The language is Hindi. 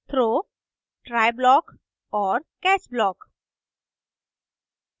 throw: try block और catch block